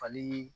Fali